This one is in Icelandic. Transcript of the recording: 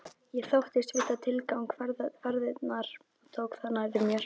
Ég þóttist vita tilgang ferðarinnar og tók það nærri mér.